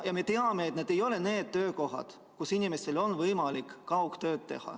Me teame, et need ei ole need töökohad, kus inimestel on võimalik teha kaugtööd.